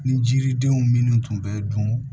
Ni jiridenw minnu tun bɛ dun